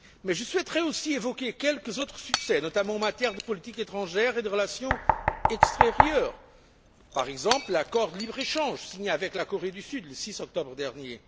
Je souhaiterais également évoquer quelques autres succès, notamment en matière de politique étrangère et de relations extérieures, par exemple l'accord de libre échange signé avec la Corée du Sud le 6 octobre dernier.